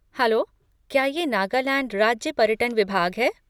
Hello! क्या ये नागालैंड राज्य पर्यटन विभाग है?